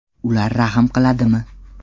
Ular rahm qiladimi?